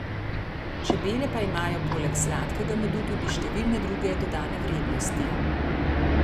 Čebele pa imajo poleg sladkega medu tudi številne druge dodane vrednosti.